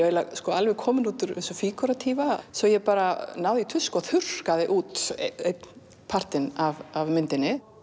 alveg komin út úr þessu svo ég bara náði í tusku og þurrkaði út einn partinn af myndinni